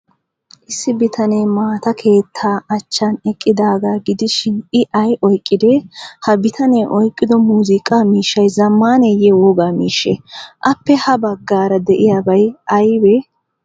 Issi bitanee maata keettaa achchan eqqidaagaa gidishin, l ay oyqqidee? Ha bitanee oyqqido muuziiqa miishshay zammaneyyee wogaa miishshee? Appe ha baggaara de'iyaabay aybee?